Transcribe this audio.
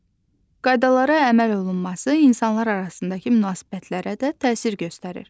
Qaydalara əməl olunması insanlar arasındakı münasibətlərə də təsir göstərir.